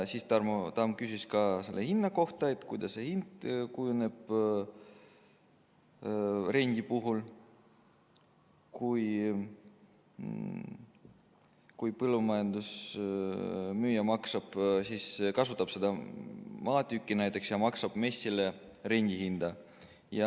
Siis küsis Tarmo Tamm ka hinna kohta, et kuidas see hind kujuneb rendi puhul, kui põllumajandusmaa müüja kasutab seda maatükki ja maksab MES-ile rendihinda.